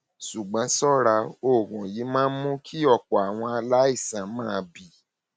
ṣùgbọn ṣọra oògùn yìí máa ń mú kí ọpọ àwọn aláìsàn máa bì